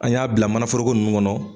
An y'a bila mana foroko nun kɔnɔ.